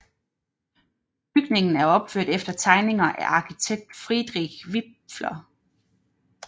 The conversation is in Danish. Bygningen er opført efter tegninger af arkitekt Friedrich Wipfler